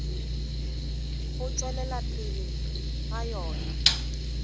go tšwelela pele ga yona